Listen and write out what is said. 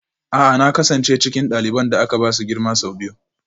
A'a na kasance cikin ɗaliban da aka ba su girma sau biyu